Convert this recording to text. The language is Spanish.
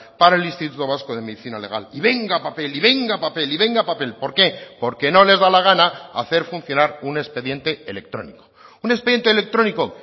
para el instituto vasco de medicina legal y venga papel y venga papel y venga papel por qué porque no les da la gana hacer funcionar un expediente electrónico un expediente electrónico